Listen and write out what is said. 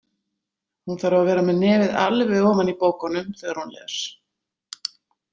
Hún þarf að vera með nefið alveg ofan í bókunum þegar hún les.